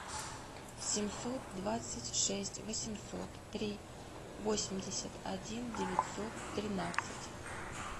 семьсот двадцать шесть восемьсот три восемьдесят один девятьсот тринадцать